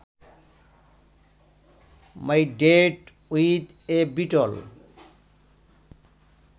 my date with a beetle